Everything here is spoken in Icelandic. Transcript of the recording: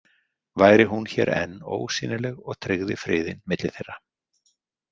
Væri hún hér enn ósýnileg og tryggði friðinn milli þeirra?